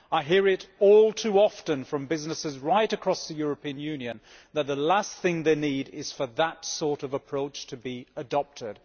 I hear all too often from businesses right across the European Union that the last thing they need is for that sort of approach to be adopted.